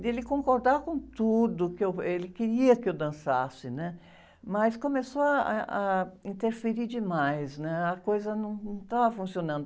dele concordar com tudo, que eu, ele queria que eu dançasse, né? Mas começou ah, eh, a interferir demais, né? A coisa num, não estava funcionando.